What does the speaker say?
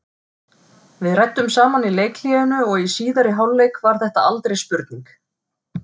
Við ræddum saman í leikhléinu og í síðari hálfleik var þetta aldrei spurning.